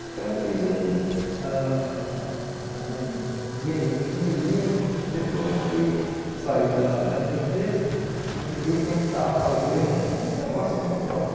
Então fiz um ãh um ganhei um dinheirinho, depois eu fui sair da da da empresa e fui tentar fazer um um negocinho próprio.